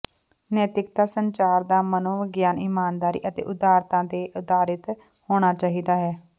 ਨੈਤਿਕਤਾ ਸੰਚਾਰ ਦਾ ਮਨੋਵਿਗਿਆਨ ਇਮਾਨਦਾਰੀ ਅਤੇ ਉਦਾਰਤਾ ਤੇ ਆਧਾਰਿਤ ਹੋਣਾ ਚਾਹੀਦਾ ਹੈ